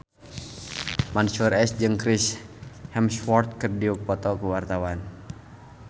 Mansyur S jeung Chris Hemsworth keur dipoto ku wartawan